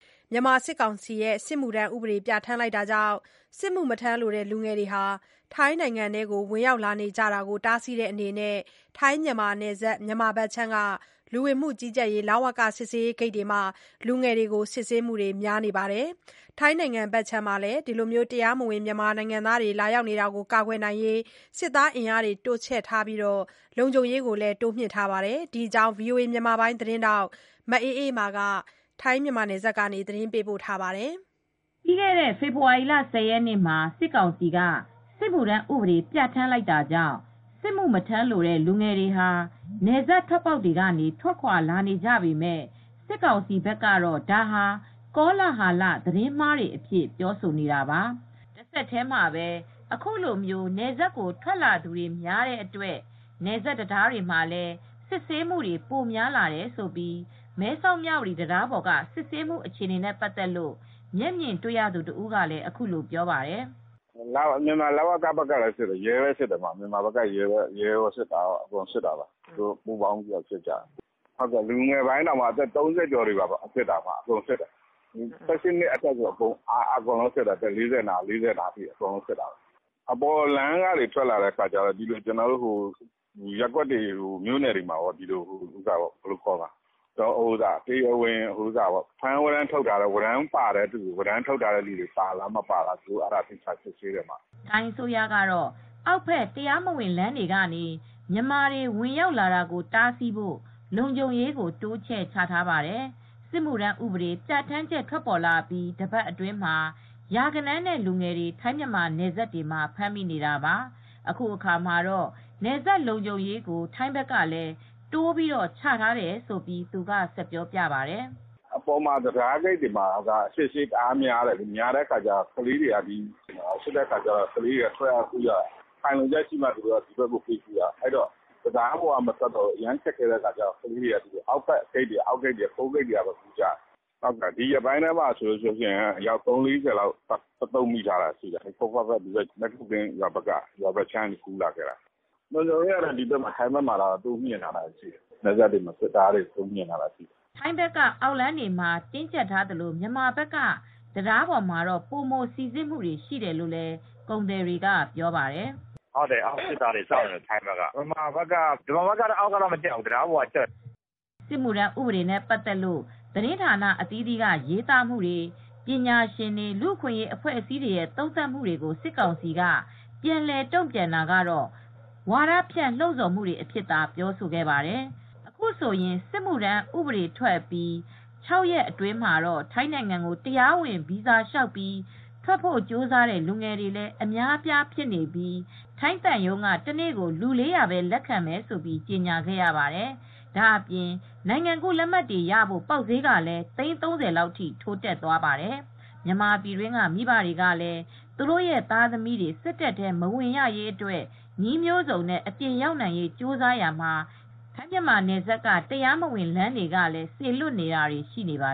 မြန်မာစစ်ကောင်စီရဲ့ စစ်မှုထမ်းဥပဒေပြဋ္ဌာန်းချက်ကြောင့် စစ်မှုမထမ်းလိုတဲ့လူငယ်တွေဟာ ထိုင်းနိုင်ငံထဲကို ဝင်ရောက်လာနေကြတာကို တားဆီးတဲ့အနေနဲ့ ထိုင်း-မြန်မာနယ်စပ်၊ မြန်မာဘက်ခြမ်းက လူဝင်မှုကြီးကြပ်ရေး စစ်ဆေးရေးဂိတ်တွေမှာ လူငယ်တွေကို စစ်ဆေးမှုတွေများသလို ထိုင်းဘက်ကလည်း တရားမဝင် မြန်မာတွေ လာရောက်နေတာကို ကာကွယ်ဖို့ စစ်သားအင်အားတွေချပြီး လုံခြုံရေးတွေ တိုးမြှင့်ထားပါတယ်။ ဒီအကြောင်း ဗွီအိုအေသတင်းထောက် မအေးအေးမာက သတင်းပေးပို့ထားပါတယ်။ ပြီးခဲ့တဲ့ ဖေဖော်ဝါရီလ ၁၀ ရက်နေ့မှာ စစ်ကောင်စီက စစ်မှုထမ်းဥပဒေ ပြဋ္ဌာန်းလိုက်တာကြောင့် စစ်မှုမထမ်းလိုတဲ့ လူငယ်တွေဟာ နယ်စပ် တွက်ပေါက်တွေကနေ ထွက်ခွာလာနေကြပေမဲ့ စစ်ကောင်စီဘက်ကတော့ ဒါဟာ ကောလဟာလ၊ သတင်းမှားတွေအဖြစ် ပြောဆိုနေတာပါ။ တဆက်တည်းမှာပဲ အခုလို နယ်စပ်ကို ထွက်လာသူတွေများတဲ့အတွက် နယ်စပ် တံတားတွေမှာလည်း စစ်ဆေးမှုတွေ ပိုများလာတယ်လို့ မဲဆောက်-မြ၀တီ တံတားပေါ်က စစ်ဆေးမှုအခြေအနေနဲ့ပတ်သက်လို့ မျက်မြင်တွေ့ရသူတဦးက အခုလို ပြောပါတယ်။ “မြန်မာလ၀ကကလည်း စစ်တယ်၊ ရဲလည်း စစ်တယ်၊ ရဲကော စစ်သားကော သူတို့ပူးပေါင်းပြီး စစ်ကြတယ်။ လူငယ်ပိုင်းက အသက် ၃၀ကျော်လည်း စစ်တယ်။ ၁၈နှစ်ကျော်ကနေ အသက် ၄၀လောက်ထိ အကုန်စစ်တယ်။ မြန်မာပြည်ဘက်ကျတော့ သူတို့ ရွာတွေ၊ မြို့တွေဘက်ကနေ ဖမ်း၀ရမ်းရှိတဲ့သူတွေ ပါသလားဆိုတာ စစ်ကြတယ်။” ထိုင်းအစိုးရကတော့ အောက်ဘက် တရားမဝင်လမ်းတွေက မြန်မာတွေ ဝင်ရောက်လာတာကို တားဆီးဖို့ လုံခြုံရေးကို တိုးချဲ့ ချထားပါတယ်။ စစ်မှုထမ်းဥပဒေ ပြဋ္ဌာန်းချက်ထွက်ပေါ်အပြီး တပတ်အတွင်းမှာ လူငယ်ရာဂဏန်းနဲ့ ချီ ထိုင်း-မြန်မာနယ်စပ်တွေမှာ ဖမ်းမိနေတာပါ။ အခုအခါမှာတော့ နယ်စပ်လုံခြုံရေးကိုထိုင်းဘက်ကလည်း တိုးပြီးချထားတယ်လို့ သူက ဆက်ပြောပြပါတယ်။ “တံတားဂိတ်မှာက စစ်ဆေးတာ တအားများတော့ ကလေးတွေ ထွက်တဲ့အခါမှာ ခိုင်လုံတဲ့အကြောင်းပြချက်ရှိမှ ဒီဘက်၊ ထိုင်းဘက်ကို ပေးကူးတယ်။ အဲဒီတော့ ကလေးတွေက တံတားပေါ်က မကူးတော့ဘူး၊ တံတားပေါ်ကနေ မထွက်တော့ဘူး၊ အောက်လမ်း ခိုးဂိတ်တွေကနေပဲ ကူးကြတော့တယ်။ ဒီရက်ပိုင်းထဲမှာဆိုရင်တော့ အယောက် ၃၀-၄၀လောက် တသုတ်မိတယ်၊ မဲ့ကို ကင်းရွာဘက်ကနေ သူတို့ကူးလာကြတာပါ။” ထိုင်းဘက်က အောက်လမ်းတွေမှာ တင်းကျပ်ထားသလို မြန်မာဘက်က တံတားပေါ်မှာပို မိုစီစစ်မူတွေ ရှိတယ်လို့ ကုန်သည်တွေက ပြောပါတယ်။ “အောက်ဘက်ကတော့ ထိုင်းစစ်တပ်တွေ စောင့်နေတယ်။ မြန်မာဘက်ကတော့ တံးတားပေါ်ကပဲ ကြပ်တယ်။” စစ်မှုထမ်းဥပဒေနဲ့ပတ်သက်လို့ သတင်းဌာန အသီးသီးက ရေးသားမှုတွေ၊ ပညာရှင်တွေ၊ လူအခွင့်ရေးအဖွဲ့တွေရဲ့ သုံးသပ်မူတွေကို ဝါဒဖြန့်လှုံ့ဆော်မူတွေအဖြစ်သာ စစ်ကောင်စီက ပြန်လည်တုံ့ပြန်ခဲ့ပါတယ်။ အခုဆိုရင် စစ်မှုထမ်းဥပဒေထွက်အပြီး ၆ရက်အတွင်းမှာတော့ ထိုင်းနိုင်ငံကို တရားဝင်ဗီဇာလျောက်ပြီး ထွက်ဖို့ကြိုးစားတဲ့ လူငယ်တွေလည်း အများအပြားဖြစ်နေပြီး ထိုင်းသံရုံးက တနေ့ကို လူ ၄၀၀ပဲ လက်ခံမယ်လို့ ကြေညာခဲ့ရပါတယ်။ ဒါ့အပြင် နိုင်ငံကူးလက်မှတ်တွေရဖို့ ပေါက်စျေးကလည်းသိန်း ၃၀လောက်ထိ ထိုးတက်သွားပါတယ်။ မြန်မာနိုင်ငံအတွင်းက မိဘတွေကလည်း သူတို့သားသမီးတွေ စစ်တပ်ထဲ မဝင်ရရေးအတွက် နည်းမျိုးစုံနဲ့ အပြင်ရောက်နိုင်ရေး ကြိုးစားရာမှာ ထိုင်း-မြန်မာနယ်စပ်က တရားမဝင် လမ်းတွေကလည်း စေလွတ်နေတာတွေ ရှိနေပါ